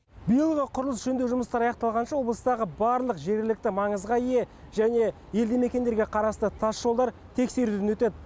биыл құрылыс жөндеу жұмыстары аяқталғанша облыстағы барлық жергілікті маңызға ие және елді мекендерге қарасты тасжолдар тексеруден өтеді